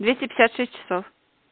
двести пятьдесят шесть часов